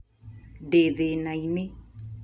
Ndĩ thĩnainĩ